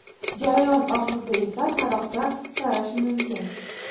Jarayon oxirida esa taroqda tarash mumkin.